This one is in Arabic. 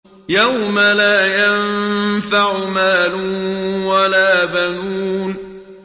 يَوْمَ لَا يَنفَعُ مَالٌ وَلَا بَنُونَ